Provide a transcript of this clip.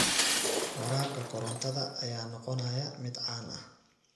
Waraabka korontada ayaa noqonaya mid caan ah.